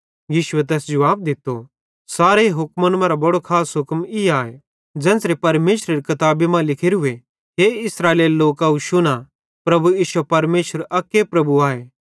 यीशुए तैस जुवाब दित्तो सारे हुक्मन मरां बड़ो खास हुक्म ई आए ज़ेन्च़रां परमेशरेरी किताबी मां लिखोरूए कि हे इस्राएलेरे लोकव शुना प्रभु इश्शो परमेशर अक्के प्रभु आए